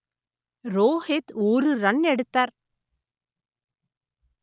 ரோகித் ஒரு ரன் எடுத்தார்